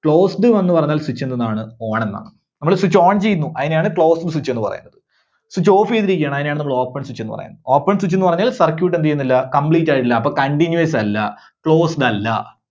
Closed എന്ന് പറഞ്ഞാൽ Switch എന്തെന്നാണ്? ON എന്നാണ്. നമ്മള് Switch ON ചെയ്യുന്നു അതിനെയാണ് Closed Switch എന്ന് പറയുന്നത്. Switch Off ചെയ്തിരിക്കയാണ്, അതിനെയാണ് നമ്മള് Open Switch ന്ന് പറയുന്നത്. Open Switch ന്ന് പറഞ്ഞാൽ circuit എന്ത് ചെയ്യുന്നില്ല? complete ആയിട്ടില്ല. അപ്പോ continuous അല്ല closed അല്ല.